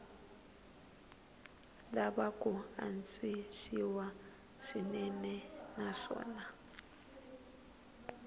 lava ku antswisiwa swinene naswona